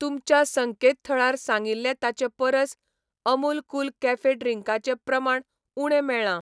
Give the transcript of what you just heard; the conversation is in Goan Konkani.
तुमच्या संकेतथळार सांगिल्लें ताचे परस अमूल कूल कॅफे ड्रिंकाचें प्रमाण उणें मेळ्ळां.